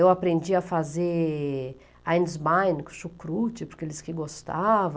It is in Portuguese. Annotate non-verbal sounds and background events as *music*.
Eu aprendi a fazer, *unintelligible* chucrute, porque ele disse que gostava.